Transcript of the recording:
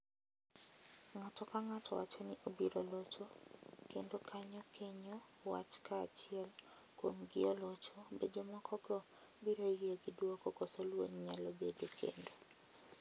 Ng’ato ka ng’ato wacho ni obiro locho kendo kanyo kenyo wach ka achiel kuom gi olocho be jomokogo biro yie gi duoko koso lweny nyalo bedo kendo.